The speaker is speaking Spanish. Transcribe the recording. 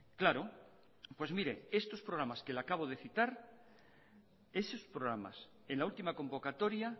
claro pues mire estos programas que le acabo de citar esos programas en la última convocatoria